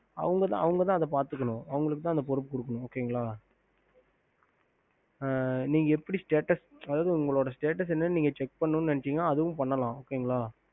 ஹம்